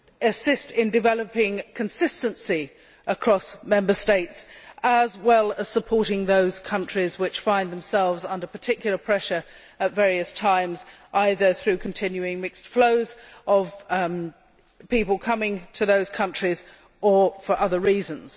assist in developing consistency across Member States, as well as supporting those countries which find themselves under particular pressure at various times, either through continuing mixed flows of people coming to those countries or for other reasons.